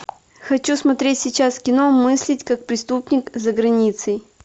хочу смотреть сейчас кино мыслить как преступник за границей